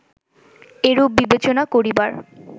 এরূপ বিবেচনা করিবার